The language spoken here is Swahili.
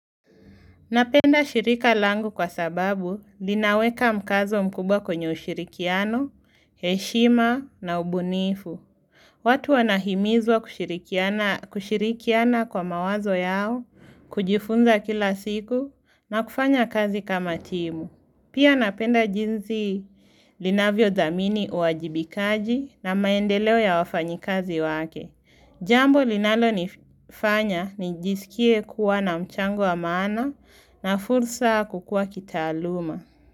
Napenda shirika langu kwa sababu linaweka mkazo mkubwa kwenye ushirikiano, heshima na ubunifu. Watu wanahimizwa kushirikiana kwa mawazo yao, kujifunza kila siku na kufanya kazi kama timu. Pia napenda jinzi linavyo dhamini uwajibikaji na maendeleo ya wafanyikazi wake. Jambo linalo nifanya nijisikie kuwa na mchango wa maana na fursa kukua kitaaluma.